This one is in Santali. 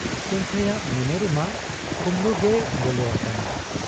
ᱥᱟᱹᱝᱠᱷᱟᱹᱭᱟᱜ ᱢᱚᱱᱮ ᱨᱮᱢᱟ ᱠᱩᱢᱵᱽᱲᱩᱜᱮᱭ ᱵᱚᱞᱚ ᱟᱠᱟᱱᱟ ᱾